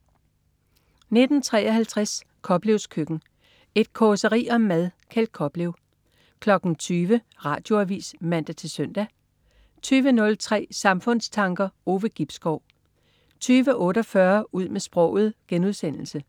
19.53 Koplevs Køkken. Et causeri om mad. Kjeld Koplev 20.00 Radioavis (man-søn) 20.03 Samfundstanker. Ove Gibskov 20.48 Ud med sproget* 21.15